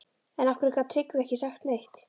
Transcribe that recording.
En af hverju gat Tryggvi ekki sagt neitt?